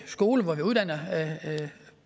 skolen hvor man uddanner